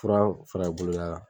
Fura in fara i bolo la.